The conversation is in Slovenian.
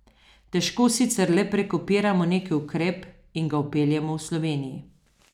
Težko sicer le prekopiramo neki ukrep in ga vpeljemo v Sloveniji.